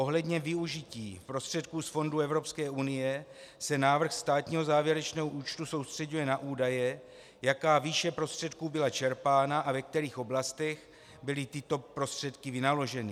Ohledně využití prostředků z fondů Evropské unie se návrh státního závěrečného účtu soustřeďuje na údaje, jaká výše prostředků byla čerpána a ve kterých oblastech byly tyto prostředky vynaloženy.